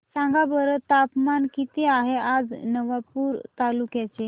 सांगा बरं तापमान किता आहे आज नवापूर तालुक्याचे